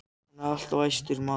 Hann er alltof æstur, maðurinn.